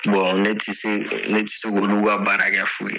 ne tɛ se ne tɛ se k'olu ka baara kɛ fu